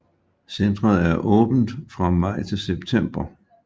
Centret er åbent fra maj til september